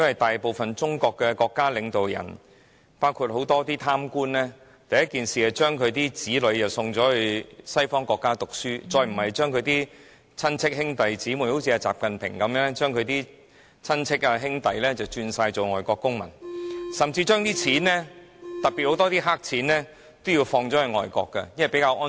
大部分中國的國家領導人——包括很多貪官，都盡早將子女送到西方國家讀書，甚至把親戚、兄弟姊妹——正如習近平的親戚、兄弟，轉做外國公民，還將資金——特別是大量黑錢轉移到外國去，因為那裏比較安全。